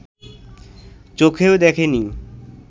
চোখেও দেখে নি